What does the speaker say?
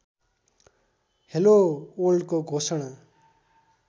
hello वर्ल्डको घोषणा